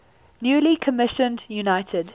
newly commissioned united